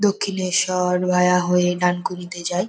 Dakshineswar via হয়ে ডানকুনিতে যাই।